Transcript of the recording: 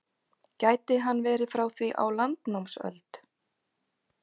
Gæti hann verið frá því á landnámsöld?